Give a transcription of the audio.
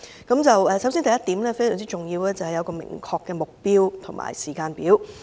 第一項非常重要，便是設立明確的目標及時間表。